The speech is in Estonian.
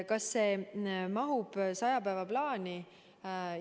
Kas see mahub 100 päeva plaani?